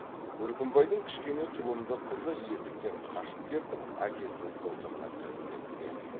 үркімбайдың кішкене тұлымды қызы есіктен қашып кеп әкесінің қолтығына кіріп кетті де